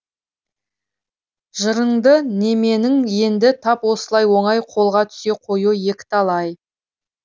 жырынды неменің енді тап осылай оңай қолға түсе қоюы екіталай